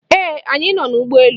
Ee, anyị nọ n'ụgbọ elu.